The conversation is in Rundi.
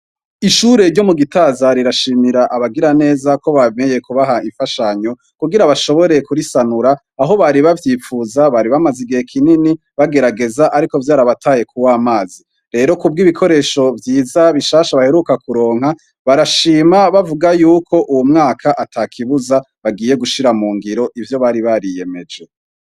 Ishure ryo mu gitaza rirashimira abagira neza ko bameye kubaha imfashanyo kugira bashoboreye kurisanura aho bari bavyipfuza bari bamaze igihe kinini bagerageza, ariko vyariabataye ku wo amazi rero ku bwo ibikoresho vyiza bishasha baheruka kuronka barashima bavuga yuko uwu mwaka ata kibuzae giye gushira mu ngiro ivyo bari bariyemeje.